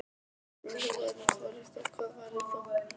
Ef þú værir forréttur, hvað værir þú?